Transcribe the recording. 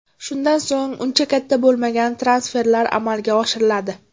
Shundan so‘ng, uncha katta bo‘lmagan transferlar amalga oshiriladi.